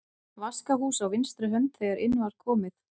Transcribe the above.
Vaskahús á vinstri hönd þegar inn var komið.